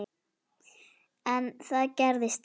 En þá gerðist það.